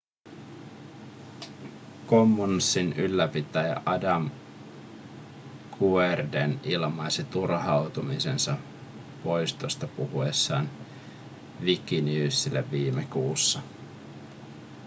commonsin ylläpitäjä adam cuerden ilmaisi turhautumisensa poistoista puhuessaan wikinewsille viime kuussa